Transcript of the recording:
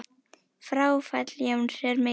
Fráfall Jóns er mikið áfall.